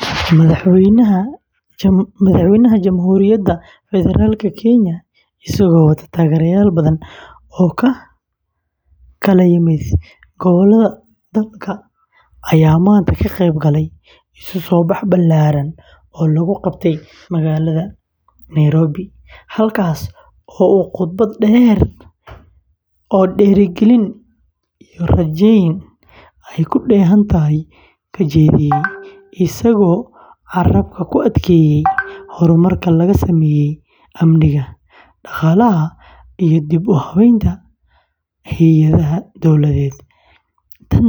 Madaxweynaha Jamhuuriyadda Federaalka kenya, isagoo wata taageerayaal badan oo ka kala yimid gobollada dalka, ayaa maanta ka qeyb galay isu-soo-bax ballaaran oo lagu qabtay magaalada nairobi, halkaas oo uu khudbad dheer oo dhiirrigelin iyo rajayn ay ku dheehan tahay ka jeediyey, isagoo carrabka ku adkeeyey horumarka laga sameeyey amniga, dhaqaalaha, iyo dib-u-habaynta hay’adaha dowladeed tan